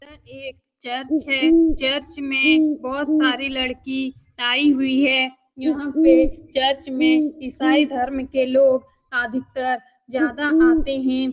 यहाँ एक चर्च है चर्च में बहुत सारी लड़की आई हुई हैं यहाँ पे चर्च में इसाई धर्म के लोग अधिकतर ज्यादा आते हैं।